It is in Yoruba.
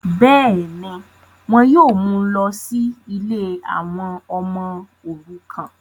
bẹ́ẹ̀ni, wọn yóò mú u lọ sí ilé àwọn ọmọ òrukàn